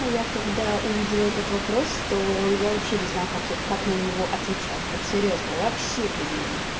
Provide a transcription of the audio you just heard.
а я когда увидела этот вопрос то я вообще не знаю как как на него отвечать вот серьёзно вообще не знаю